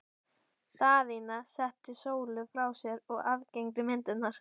Daðína setti Sólu frá sér og aðgætti myndirnar.